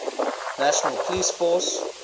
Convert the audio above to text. national police force